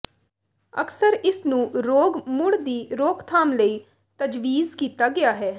ਅਕਸਰ ਇਸ ਨੂੰ ਰੋਗ ਮੁੜ ਦੀ ਰੋਕਥਾਮ ਲਈ ਤਜਵੀਜ਼ ਕੀਤਾ ਗਿਆ ਹੈ